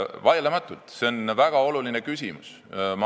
Vaieldamatult on see väga oluline küsimus.